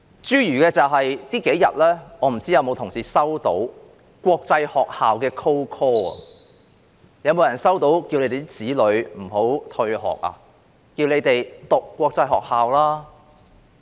諸如這數天，我不知道有否同事接到國際學校的 cold call， 叫他們的子女不要退學，叫他們讓子女入讀國際學校？